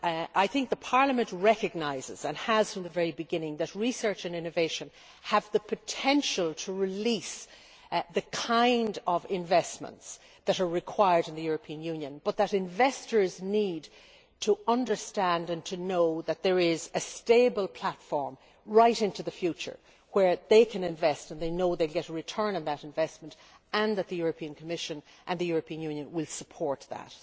I think Parliament recognises and has from the very beginning that research and innovation have the potential to release the kind of investments that are required in the European Union but that investors need to understand and to know that there is a stable platform right into the future where they can invest and they know they will get a return on that investment and that the European Commission and the European Union will support that.